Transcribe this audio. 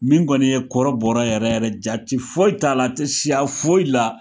Min kɔni ye kɔrɔbɔrɔ yɛrɛ yɛrɛ jati foyi t'a la ti siya foyi la